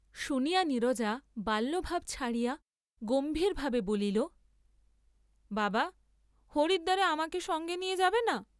শুনিয়া নীরজা বাল্যভাব ছাড়িয়া গম্ভারভাবে বলিল, বাবা হরিদ্বারে আমাকে সঙ্গে নিয়ে যাবে না?